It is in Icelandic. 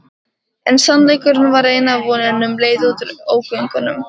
En sannleikurinn var eina vonin um leið út úr ógöngunum.